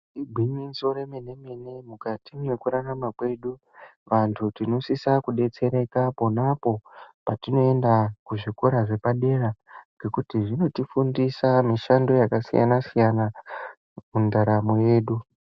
Igwinyiso remene-mene mukati mekurarama kwedu, vantu tinosise kudetsereka ponapo patinoenda kuzvikora zvepadera, ngekuti zvinotifundisa mishando yakasiyana-siyana mundaramo yedu.